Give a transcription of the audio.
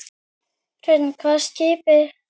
Hrund: Hvað er skipið langt?